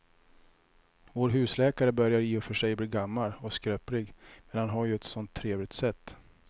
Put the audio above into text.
Vår husläkare börjar i och för sig bli gammal och skröplig, men han har ju ett sådant trevligt sätt!